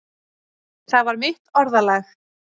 Það var mitt orðalag.